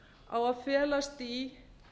á að felast í